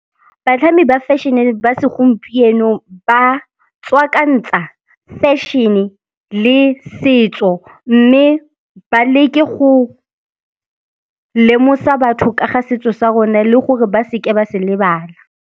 Batlhami ba fashion-e ba segompieno ba tswakantsa fashion-e le setso mme ba leke go lemosa batho ka ga setso sa rona le gore ba seke ba se lebala.